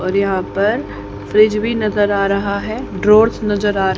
और यहां पर फ्रिज भी नजर आ रहा है ड्रॉर्स नजर आ र--